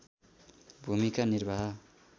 भूमिका निर्वाह